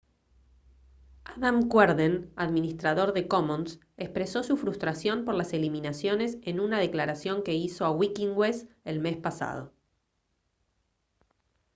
adam cuerden administrador de commons expresó su frustración por las eliminaciones en una declaración que hizo a wikinwes el mes pasado